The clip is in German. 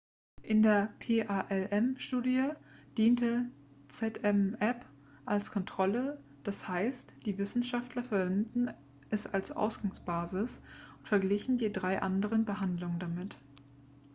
in der palm-studie diente zmapp als kontrolle d.h. die wissenschaftler verwendeten es als ausgangsbasis und verglichen die drei anderen behandlungen damit